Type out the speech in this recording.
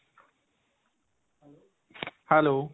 hello.